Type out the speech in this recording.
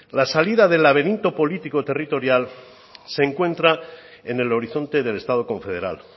la salida del laberinto político territorial se encuentra en el horizonte del estado confederal